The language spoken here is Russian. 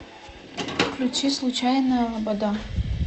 включи случайная лобода